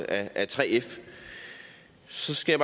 af 3f så skal